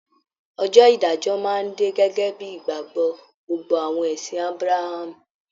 Ọjọ́ ìdájọ́ máa dé gẹ́gẹ́ bíi ìgbàgbọ́ gbogbo àwọn ẹ̀sìn Ábráhámù